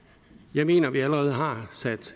jeg mener at vi allerede har sat